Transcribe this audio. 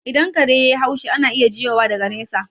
Idan kare yai haushi, ana iya jiyowa daga nesa